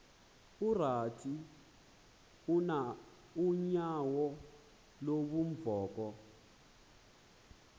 utrath unyauo lubunvoko